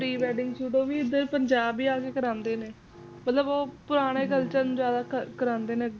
Pre wedding shoot ਓਹ ਵੀ ਏਡਰ ਪੰਜਾਬ ਆਕੇ ਹੀ ਕਰਾਉਂਦੇ ਨੇ ਮਤਲਬ ਓਹ ਪੁਰਾਣੇ culture ਨੂੰ ਜਾਦਾ ਕਰਾਉਂਦੇ ਨੇ